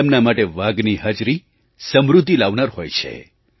તેમના માટે વાઘની હાજરી સમૃદ્ધિ લાવનાર હોય છે